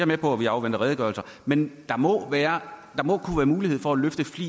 med på at vi afventer redegørelser men der må være mulighed for at løfte